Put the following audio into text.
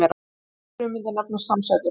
Slíkar frumeindir nefnast samsætur.